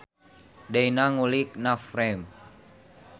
Deyna ngulik navframe